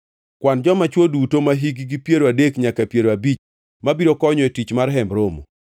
Kwan joma chwo duto mahikgi piero adek nyaka piero abich mabiro konyo e tich mar Hemb Romo.